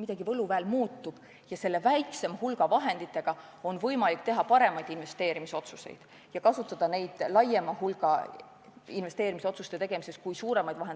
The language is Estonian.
midagi võluväel muutub ja selle väiksema hulga vahenditega on võimalik teha endisest paremaid investeerimisotsuseid ja kasutada seda raha laiema valikuga investeerimisotsuste tegemiseks.